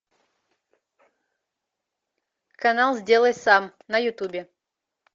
канал сделай сам на ютубе